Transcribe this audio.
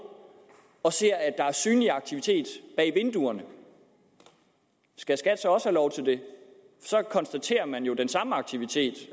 og ser at der er synlig aktivitet bag vinduerne skal skat så også have lov til det så konstaterer man jo den samme aktivitet